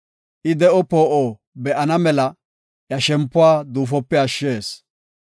I de7o poo7o be7ana mela, iya shempuwa duufope ashshees.